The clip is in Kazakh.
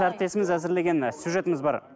әріптесіміз әзірлеген і сюжетіміз бар